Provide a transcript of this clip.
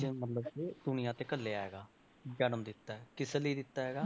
ਮਤਲਬ ਕਿ ਦੁਨੀਆਂ ਤੇ ਘੱਲਿਆ ਹੈਗਾ ਜਨਮ ਦਿੱਤਾ ਹੈ ਕਿਸ ਲਈ ਦਿੱਤਾ ਹੈਗਾ,